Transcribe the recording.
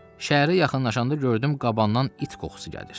Şəhərə yaxınlaşanda gördüm qabandan it qoxusu gəlir.